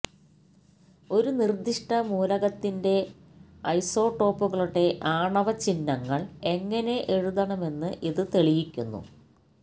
ഒരു നിർദ്ദിഷ്ട മൂലകത്തിന്റെ ഐസോട്ടോപ്പുകളുടെ ആണവ ചിഹ്നങ്ങൾ എങ്ങനെ എഴുതണമെന്ന് ഇത് തെളിയിക്കുന്നു